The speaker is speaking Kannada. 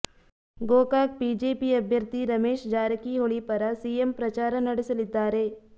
ಗೋಕಾಕ್ ಬಿಜೆಪಿ ಅಭ್ಯರ್ಥಿ ರಮೇಶ್ ಜಾರಕಿಹೊಳಿ ಪರ ಸಿಎಂ ಪ್ರಚಾರ ನಡೆಸಲಿದ್ದಾರೆ